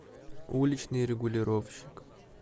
уличный регулировщик